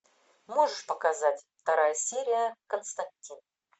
можешь показать вторая серия константин